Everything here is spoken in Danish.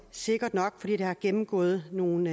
sikkert nok fordi det har gennemgået nogle